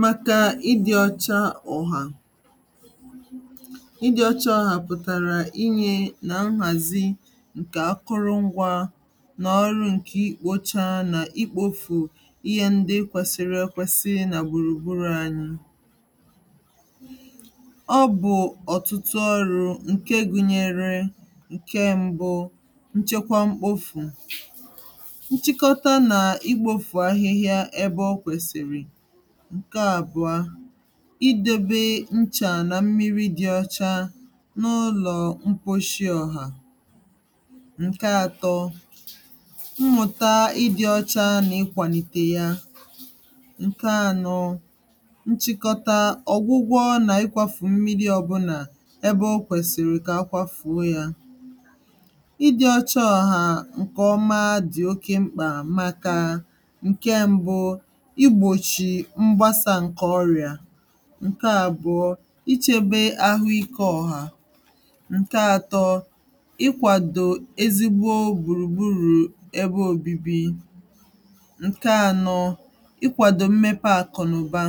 màkà ìdị́ ọ̀chá ọ̀hà ìdị́ ọ̀chá ọ̀hà pụtara ínye na nhàzí nke àkụrụngwa na ọrụ nke ikpochà nà ikpòfù íhè ndí kwèsìrì ekwèsì nà gbùrùgbùrù ànyị ọ bụ ọtụtụ ọrụ nke gùnyèrè ǹke m̀bụ, nchèkwà mkpòfù nchịkọtà nà ikpòfù ahìhìá ebe o kwèsìrì ǹke àbụọ idèbè nchà nà mmìrì dị̇ ọ̀chá n’ụlọ̀ mkpuchi ọ̀hà ǹke atọ mmùtà ìdị́ ọ̀chá nà ikwàlìtè yà ǹke ànọ̇ nchịkọtà, ọ̀gwụgwọ nà ịkwàfù mmìrì ọ̀bụlà ebe o kwèsìrì kà àkwàfùo yà ìdị́ ọ̀chá ọ̀hà ǹkọ̀mà dị̀ òkè mkpà màkà ǹke m̀bụ igbòchi mgbàsà ǹkè ọrịa ǹke àbụọ ichebè àhụ́ikè ọ̀hà ǹke atọ ikwàdò ezigbo gbùrùgbùrù ebe òbìbì ǹke ànọ̇ ikwàdò mmèpè àkụ̀ nà ụ̀bà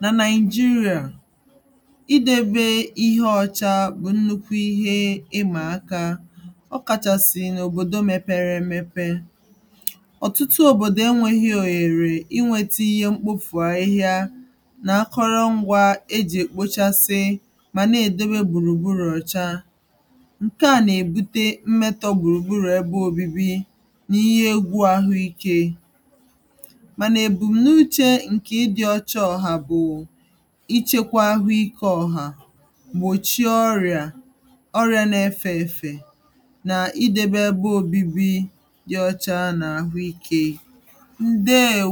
nà Nàịjíríà ìdèbè íhè ọ̀chá bụ̀ nnukwu ìmà àkà, ọ kàchàsị̀ n’òbòdò mèpèrè èmèpè ọ̀tụtụ òbòdò ènwèghì̇ ònyèrè inwètà ihe mkpòfù ahìhìá nà akọ̇rọ̇ ngwà ejì èkpòchàsì mà na-èdèbè gbùrùgbùrù ọ̀chá ǹkè à nà-ebùtè mmetọ̇ gbùrùgbùrù ebe òbìbì nà íhè ègwú àhụ́ikè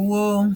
mà